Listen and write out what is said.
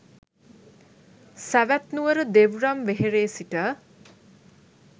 සැවැත් නුවර දෙව්රම් වෙහෙරේ සිට